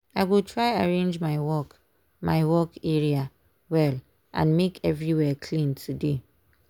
i go try arrange my work my work area well and make everywhere clean today.